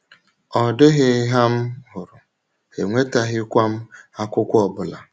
Ọ dịghị hà m hụrụ, enwetaghịkwa m akwụkwọ ọ bụla.